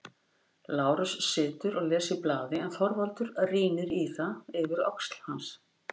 Lárus situr og les í blaði en Þorvaldur rýnir í það yfir öxl hans.